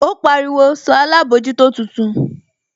Ó pariwo, sọ alábòójútó tuntun?